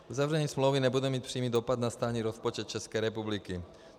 Uzavření smlouvy nebude mít přímý dopad na státní rozpočet České republiky.